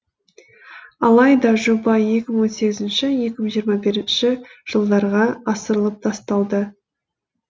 алайда жоба екі мың он сегізінші екі мың жиырма бірінші жылдарға ысырылып тасталды